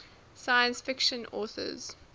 science fiction authors